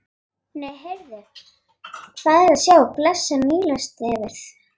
Nei, heyrðu, hvað er að sjá blessað Nílarsefið!